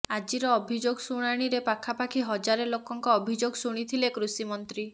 ଆଜିର ଅଭିଯୋଗ ଶୁଣାଣୀରେ ପାଖାପାଖି ହଜାରେ ଲୋକଙ୍କ ଅଭିଯୋଗ ଶୁଣିଥିଲେ କୃଷିମନ୍ତ୍ରୀ